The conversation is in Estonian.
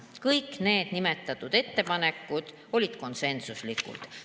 Kõik need nimetatud ettepanekud olid konsensuslikud.